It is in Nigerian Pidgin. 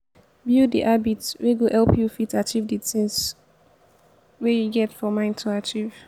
build di habits wey go help you fit achieve di thing wey you get for mind to achieve